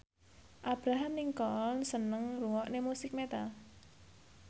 Abraham Lincoln seneng ngrungokne musik metal